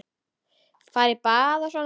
Fara í bað og svona.